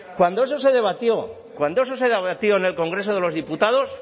cuando eso se debatió cuando eso se debatió en el congreso de los diputados